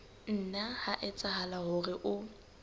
nna ha etsahala hore o